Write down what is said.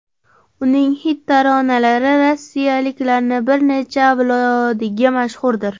Uning xit taronalari rossiyaliklarning bir necha avlodiga mashhurdir.